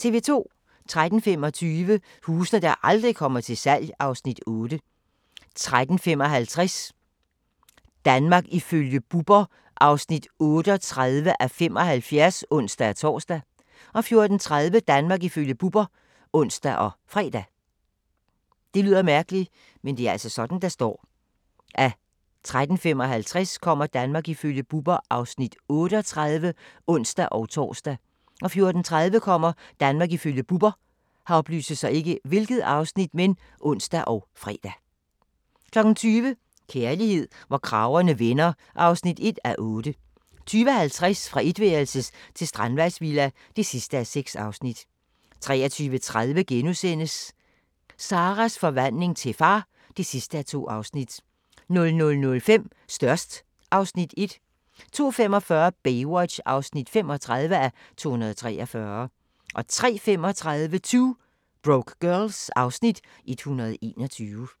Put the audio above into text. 13:25: Huse der aldrig kommer til salg (Afs. 8) 13:55: Danmark ifølge Bubber (38:75)(ons-tor) 14:30: Danmark ifølge Bubber (ons og fre) 20:00: Kærlighed, hvor kragerne vender (1:8) 20:50: Fra etværelses til strandvejsvilla (6:6) 23:30: Sarahs forvandling til far (2:2)* 00:05: Størst (Afs. 1) 02:45: Baywatch (35:243) 03:35: 2 Broke Girls (Afs. 121)